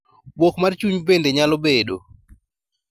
Buok mar chuny bende nyalo bedo